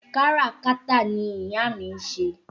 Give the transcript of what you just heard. Káràkátà ni ìyá mi ń ṣe